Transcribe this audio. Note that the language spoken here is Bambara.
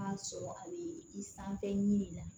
A sɔrɔ a bɛ i sanfɛ ɲini